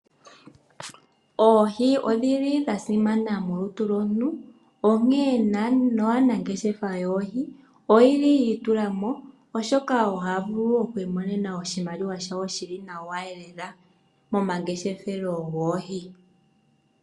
Oohi odhili dhasimana molutu lomuntu, onkee aanangeshefa yoohi oyeli yiitulamo, oshoka ohayavulu okwiimonena oshimaliwa shawo shili nawa lela momangeshefelo goohi.